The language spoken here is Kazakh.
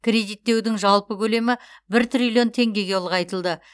кредиттеудің жалпы көлемі бір триллион теңгеге ұлғайтылды